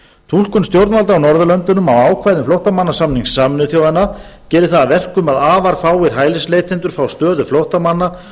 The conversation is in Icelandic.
túlkun stjórnvalda á norðurlöndunum á ákvæðum flóttamannasamnings sameinuðu þjóðanna gerir það að verkum að afar fáir hælisleitendur fá stöðu flóttamanna